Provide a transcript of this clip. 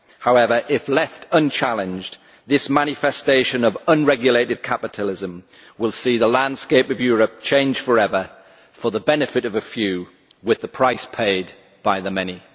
However, if left unchallenged, this manifestation of unregulated capitalism will see the landscape of Europe change forever, to the benefit of a few, with the price paid by the many.